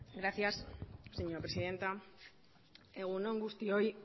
egun on guztioi